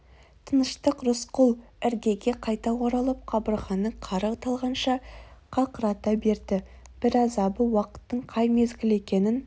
тыныштық рысқұл іргеге қайта оралып қабырғаны қары талғанша қақырата берді бір азабы уақыттың қай мезгіл екенін